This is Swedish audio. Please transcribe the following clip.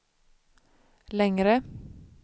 längre